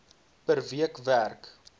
per week werk